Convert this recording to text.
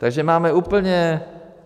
Takže máme úplně...